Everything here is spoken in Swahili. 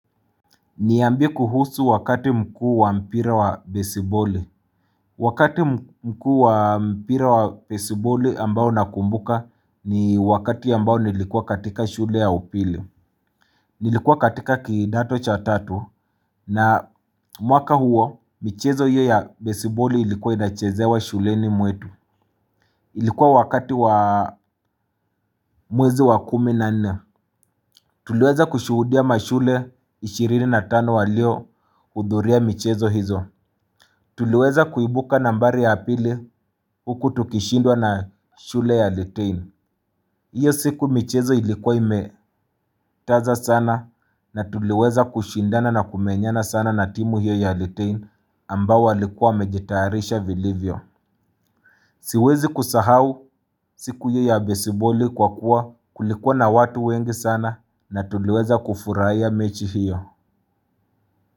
Niambie kuhusu wakati mkuu wa mpira wa besiboli Wakati mkuu wa mpira wa besiboli ambao nakumbuka ni wakati ambao nilikuwa katika shule ya upili Nilikuwa katika kidato cha tatu na mwaka huo michezo hiyo ya besiboli ilikuwa inachezewa shuleni mwetu Ilikuwa wakati wa mwezi wa kumi na nne Tuliweza kushuhudia mashule ishirini na tano waliohudhuria michezo hizo Tuliweza kuibuka nambari ya pili huku tukishindwa na shule ya Alitain Iyo siku michezo ilikuwa imekaza sana na tuliweza kushindana na kumenyana sana na timu hiyo ya Alitain ambao walikuwa wamejitayarisha vilivyo Siwezi kusahau siku hiyo ya besiboli kwa kuwa kulikuwa na watu wengi sana na tuliweza kufurahia mechi hiyo.